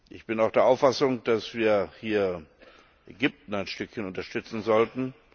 Ich bin auch der Auffassung, dass wir hier Ägypten ein Stückchen unterstützen sollten.